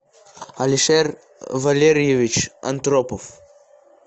алишер валерьевич антропов